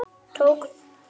Tók sér frí.